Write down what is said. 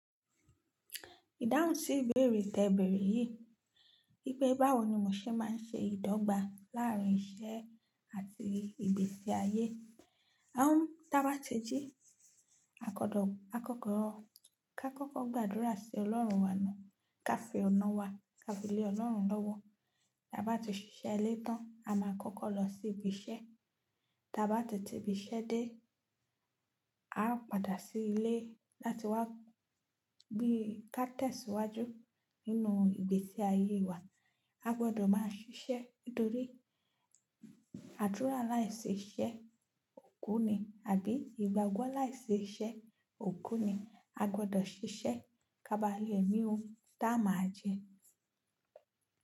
Ìdáhùn sí ìbéèrè tẹ̀bẹ̀rẹ̀ yìí, pé báwo ni mo ṣe máa ń ṣe ìdọ́gba láàárín iṣẹ́ àti ìgbésí ayé. À ń, tí a bá ti jí, a kọ́kọ́ gbàdúrà sí Ọlọ́run wa náà, ká fi ọ̀nà wa, ká fi lé Ọlọ́run lọ́wọ́. Tí a bá ti ṣiṣẹ́ letàn, a máa kọ́kọ́ lọ sí ibi iṣẹ́. Tí a bá ti ti ibi iṣẹ́ dé, a ó padà sí ilé láti wá bí ká tẹ̀síwájú nínú ìgbésí ayé wa. A gbọdọ̀ máa ṣiṣẹ́ nítorí àdúrà láìṣi iṣẹ́ òkú ni àbí ìgbàgbọ́ láìṣi iṣẹ́ òkú ni. A gbọdọ̀ ṣiṣẹ́ ká ba lè ri ohun taa máa jẹ.